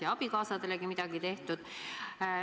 Ja abikaasadelegi on midagi tehtud.